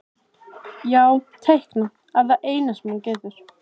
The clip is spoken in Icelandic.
Já, teikna er það eina sem hún getur.